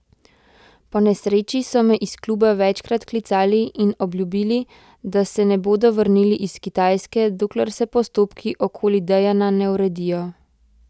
Po nesreči so me iz kluba večkrat klicali in obljubili, da se ne bodo vrnili iz Kitajske, dokler se postopki okoli Dejana ne uredijo.